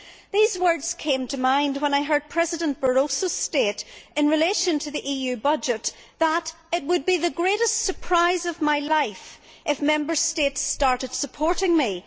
These words came to mind when I heard President Barroso state, in relation to the EU budget, that it would be the greatest surprise of my life if Member States starting supporting me.